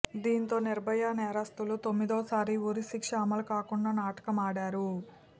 దీంతో నిర్భయ నేరస్తులు తొమ్మిదోసారి ఉరిశిక్ష అమలు కాకుండా నాటకమాడారు